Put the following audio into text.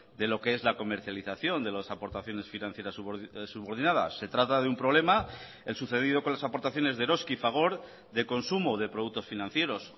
de lo que es la comercialización de las aportaciones financieras subordinadas se trata de un problema el sucedido con las aportaciones de eroski y fagor de consumo de productos financieros